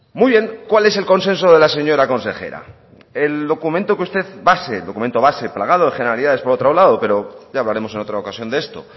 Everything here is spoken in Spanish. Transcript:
muy bien cuál es el consenso de la señora consejera el documento base plagado de generalidades por otro lado pero ya hablaremos en otra ocasión de esto